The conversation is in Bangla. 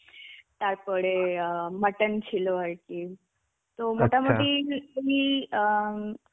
তারপরে অ্যাঁ mutton ছিল আর কি. তো মোটামুটি তুমি অ্যাঁ